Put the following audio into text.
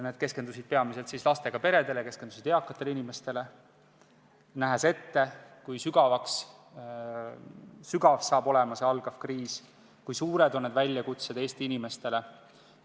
Need on keskendunud peamiselt lastega peredele ja eakatale inimestele, sest me näeme ette, kui sügav saab olema see alanud kriis, kui suured on need väljakutsed Eesti inimestele.